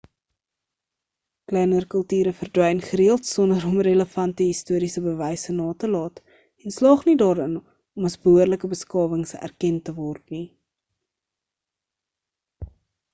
kleiner kulture verdwyn gereeld sonder om relevante historiese bewyse na te laat en slaag nie daarin om as behoorlike beskawings erken te word nie